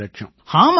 ஆமாங்கய்யா